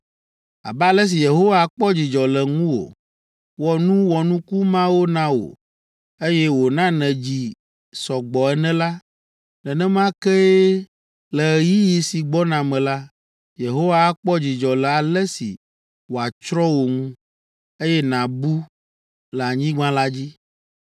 Abe ale si Yehowa kpɔ dzidzɔ le ŋuwò, wɔ nu wɔnuku mawo na wò, eye wòna nèdzi sɔ gbɔ ene la, nenema kee, le ɣeyiɣi si gbɔna me la, Yehowa akpɔ dzidzɔ le ale si wòatsrɔ̃ wò ŋu, eye nàbu le anyigba la dzi,